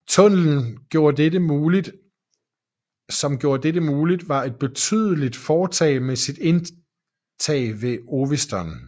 Tunnelen som gjorde dette mulig var et betydelig foretag med sit indtag ved Oviston